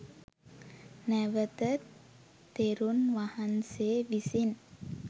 නැවත තෙරුන් වහන්සේ විසින්